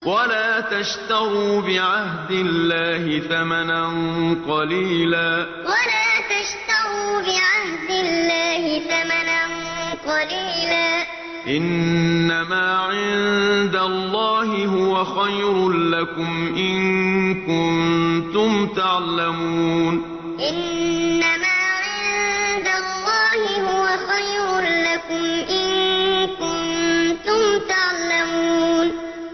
وَلَا تَشْتَرُوا بِعَهْدِ اللَّهِ ثَمَنًا قَلِيلًا ۚ إِنَّمَا عِندَ اللَّهِ هُوَ خَيْرٌ لَّكُمْ إِن كُنتُمْ تَعْلَمُونَ وَلَا تَشْتَرُوا بِعَهْدِ اللَّهِ ثَمَنًا قَلِيلًا ۚ إِنَّمَا عِندَ اللَّهِ هُوَ خَيْرٌ لَّكُمْ إِن كُنتُمْ تَعْلَمُونَ